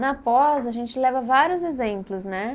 Na pós, a gente leva vários exemplos, né?